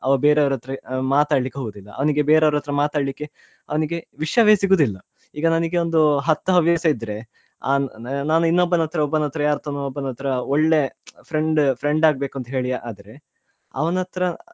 ಅವ ಬೇರೆಯವರತ್ರ ಮಾತಾಡ್ಲಿಕ್ಕೆ ಹೋಗುದಿಲ್ಲಅವನಿಗೆ ಬೇರೆಯವರತ್ರ ಮಾತಾಡ್ಲಿಕ್ಕೆ ಅವನಿಗೆ ವಿಷ್ಯವೇ ಸಿಗುದಿಲ್ಲ ಈಗ ನಾನಿಗೊಂದು ಹತ್ತು ಹವ್ಯಾಸ ಇದ್ರೆ ಆ ನಾನ್ ಇನ್ನೊಬ್ಬನತ್ರ ಒಬ್ಬನತ್ರ ಯಾರಾತ್ರನೊ ಒಬ್ಬನತ್ರ ಒಳ್ಳೆ friend ಆಗ್ ಬೇಕು ಅಂತೆಳಿ ಆದ್ರೆ ಅವನತ್ರ .